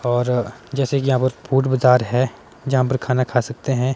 और जैसे कि यहां पर फूड बाजार है यहां पर खाना खा सकते हैं।